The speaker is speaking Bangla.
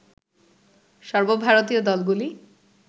সর্বভারতীয় দলগুলি